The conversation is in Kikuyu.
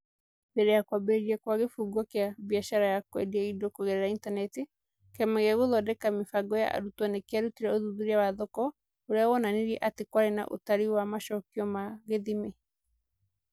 Mbere ya kwambĩrĩria kwa kĩbungo kĩa kĩa biacara ya kwendia indo kũgerera intaneti, Kĩama gĩa Gũthondeka Mĩbango ya Arutwo nĩ kĩarutire ũthuthuria wa thoko ũrĩa wonanirie atĩ kwarĩ na ũtarĩ wa macokio ma gĩthimi.